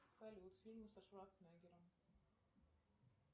салют фильм со шварценеггером